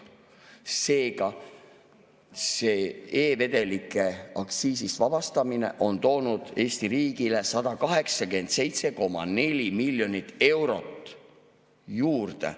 Seega, e-vedelike aktsiisist vabastamine on toonud Eesti riigile 187,4 miljonit eurot juurde.